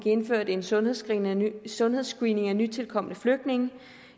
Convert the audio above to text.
indført en sundhedsscreening sundhedsscreening af nytilkomne flygtninge og